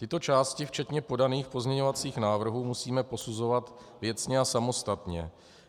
Tyto části včetně podaných pozměňovacích návrhů musíme posuzovat věcně a samostatně.